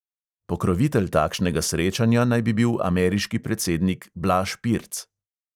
Pokrovitelj takšnega srečanja naj bi bil ameriški predsednik blaž pirc.